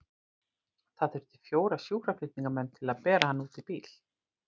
Það þurfti fjóra sjúkraflutningamenn til að bera hana út í bílinn.